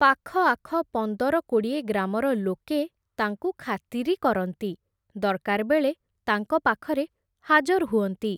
ପାଖଆଖ ପନ୍ଦର କୋଡ଼ିଏ ଗ୍ରାମର ଲୋକେ, ତାଙ୍କୁ ଖାତିରି କରନ୍ତି, ଦରକାର୍ ବେଳେ, ତାଙ୍କ ପାଖରେ ହାଜର୍ ହୁଅନ୍ତି ।